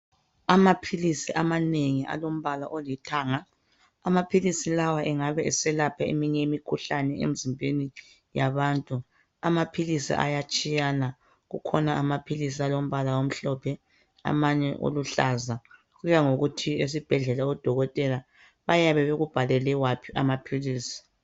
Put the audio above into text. Amaphilisi amanengi alombala olithanga. Amaphilisi lawa engabe eselapha eminye imikhuhlane emzimbeni yabantu. Amaphilisi ayatshiyanana akhona amaphilisi alombala omhlophe amanye oluhlaza kuya ngokuthi esibhedlela odokotela bayabe bekubhalele waphi amaphilisi.